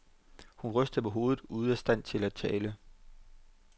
Hun rystede på hovedet, ude af stand til at tale.